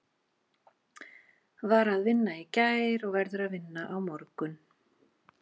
Var að vinna í gær og verður að vinna á morgun.